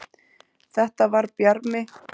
Þetta var Bjarmi!